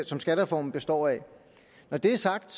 som skattereformen består af når det er sagt